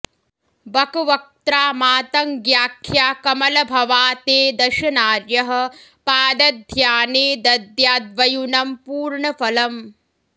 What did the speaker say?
बकवक्त्रा मातङ्ग्याख्या कमलभवा ते दश नार्यः पादध्याने दद्याद्वयुनं पूर्णफलम्